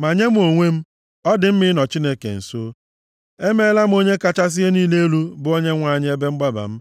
Ma nye mụ onwe m, ọ dị mma ịnọ Chineke nso. Emeela m Onye kachasị ihe niile elu, bụ Onyenwe anyị ebe mgbaba m.